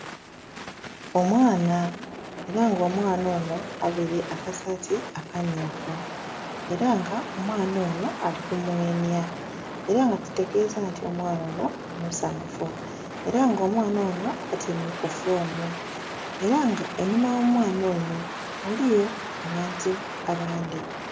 Omwana, era nga omwana onho avaire akasati akammyufu era nga omwana onho alikumwenya era nga kitegeza nti omwana onho musanhufu era nga omwana onho atyaime kufomu era nga enhuma oghomwana ono ghaligho abantu abandhi.